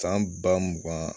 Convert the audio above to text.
San ba mugan